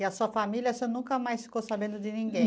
E a sua família, você nunca mais ficou sabendo de ninguém?